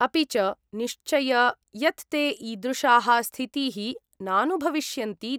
अपि च, निश्चय यत् ते ईदृशाः स्थितीः नानुभविष्यन्ति।